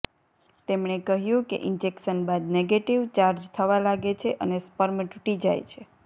તેમણે કહ્યું કે ઇંજેક્શન બાદ નેગેટિવ ચાર્જ થવા લાગે છે અને સ્પર્મ ટુટી જાય છે